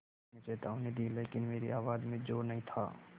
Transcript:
मैंने चेतावनी दी लेकिन मेरी आवाज़ में ज़ोर नहीं था